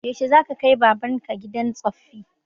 Yaushe za ka kai baban ka gidan tsoffi?